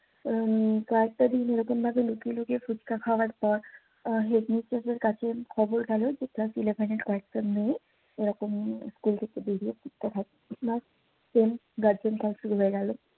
উম কয়েকটা দিন এইরকম ভাবে লুকিয়ে লুকিয়ে পুচকা খাওয়ার পর Headmistress এর কাছে খবর গেলো যে ক্লাস eleven এর কয়েকটা মেয়ে এইরকম স্কুল থেকে বেরিয়ে পুচকা খাচ্ছে ব্যাস গার্জিয়ান